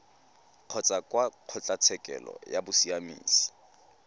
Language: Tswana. kgotsa kwa kgotlatshekelo ya bosiamisi